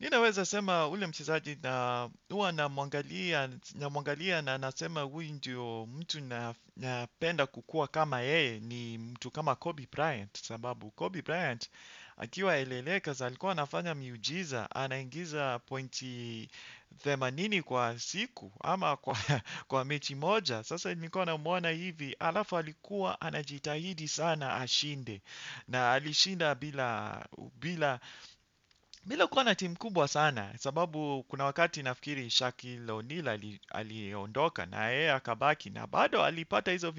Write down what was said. Ninaweza sema ule mchezaji na huwa namwangalia na nasema huyu ndio mtu napenda kukua kama yeye ni mtu kama Kobi Bryan. Sababu Kobi Bryant akiwa eleleka za alikuwa anafanya miujiza, anaingiza pointi themanini kwa siku ama kwa mechi moja. Sasa nilikuwa namuona hivi alafu alikuwa anajitahidi sana ashinde na alishinda bila, bila, bila kubwa na timu kubwa sana, sababu kuna wakati nafikiri Shaquille O'Neal aliondoka na yeye akabaki na bado alipata hizo,